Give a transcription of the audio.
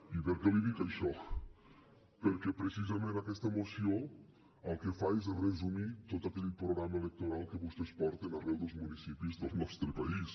i per què li dic això perquè precisament aquesta moció el que fa és resumir tot aquell programa electoral que vostès porten arreu dels municipis del nostre país